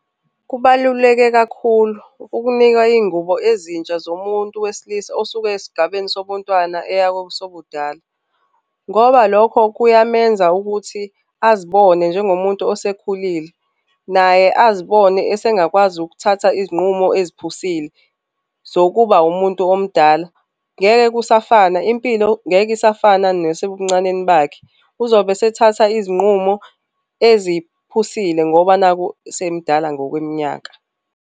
Kubaluleke kakhulu ukunika izingubo ezintsha zomuntu wesilisa osuke esigabeni sobontwana eya kosobudala, ngoba lokho kuyamenza ukuthi azibone njengomuntu osekhulile. Naye azibone esingakwazi ukuthatha izinqumo eziphusile zokuba umuntu omdala. Ngeke kusafana. Impilo ngeke isafana nasebuncaneni bakhe. Uzobe esethatha izinqumo eziphusile ngoba nakhu semdala ngokweminyaka